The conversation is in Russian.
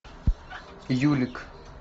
юлик